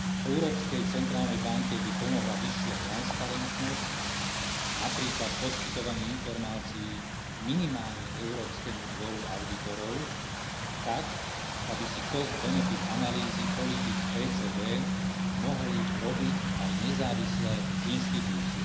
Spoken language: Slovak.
Európskej centrálnej banke by pomohla vyššia transparentnosť, napríklad poskytovanie informácií minimálne Európskemu dvoru audítorov tak, aby si cost benefit analýzy politík ECB mohli robiť aj nezávislé inštitúcie.